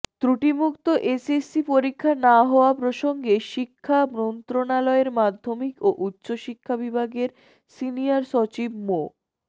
ত্রুটিমুক্ত SSC পরীক্ষা না হওয়া প্রসঙ্গে শিক্ষা মন্ত্রণালয়ের মাধ্যমিক ও উচ্চশিক্ষা বিভাগের সিনিয়র সচিব মো